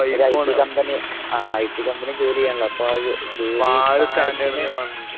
ഒരു I T company ആഹ് I T company ജോലി ചെയ്യണല്ലോ അപ്പൊ